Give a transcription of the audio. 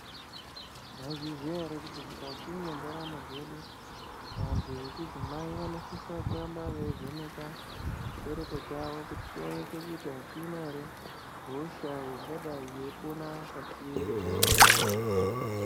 Maizviziya ere kuti mukati mendaramo dzedu vantu vechidzimai vanosisa kuramba veivhenekwa chibereko chavo kuti chionekwe kuti achina ere hosha ingadayi yeipona pachiri.